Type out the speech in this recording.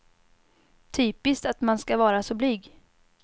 Typiskt att man ska vara så blyg.